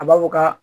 A b'a fɔ ka